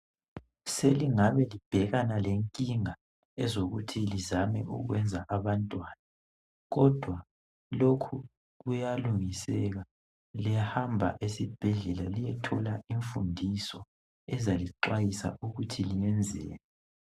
Selingabe libhekana lenkinga ezokuthi lizame ukwenza abantwana kodwa lokhu kuyalungiseka, liyahamba esibhedlela liyethola imfundiso ezalixwayisa ukuthi liyenzeni.